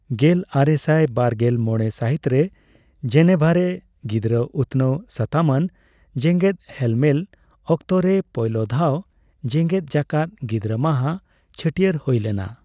ᱜᱮᱞ ᱟᱨᱮᱥᱟᱭ ᱵᱟᱨᱜᱮᱞ ᱢᱚᱲᱮ ᱥᱟᱹᱦᱤᱛᱨᱮ ᱡᱮᱱᱮᱵᱷᱟᱨᱮ ᱜᱤᱫᱽᱨᱟᱹ ᱩᱛᱱᱟᱹᱣ ᱥᱟᱛᱟᱢ ᱟᱱ ᱡᱮᱜᱮᱫ ᱦᱮᱞᱢᱮᱞ ᱚᱠᱛᱚᱨᱮ, ᱯᱳᱭᱞᱳ ᱫᱷᱟᱣ ᱡᱮᱜᱮᱫ ᱡᱟᱠᱟᱛ ᱜᱤᱫᱽᱨᱟᱹ ᱢᱟᱦᱟ ᱪᱷᱟᱹᱴᱭᱟᱹᱨ ᱦᱳᱭ ᱞᱮᱱᱟ ᱾